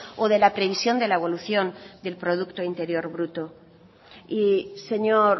o de la previsión de la evolución del producto interior bruto y señor